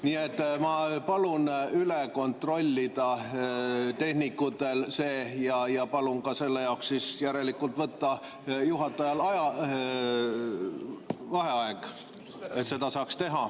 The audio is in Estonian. Nii et ma palun see tehnikutel üle kontrollida ja palun ka selle jaoks võtta juhatajal vaheaeg, et seda saaks teha.